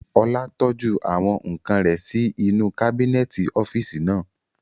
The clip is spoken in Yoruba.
Ọlá tọ́jú àwọn ǹkan rẹ̀ sí inú kábínẹ̀tì ọ́físì naa